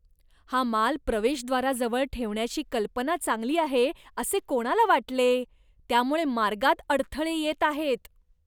हा माल प्रवेशद्वाराजवळ ठेवण्याची कल्पना चांगली आहे असे कोणाला वाटले? त्यामुळे मार्गात अडथळे येत आहेत.